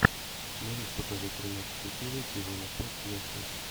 можешь показать тринадцатую серию сезона пять нэшвилл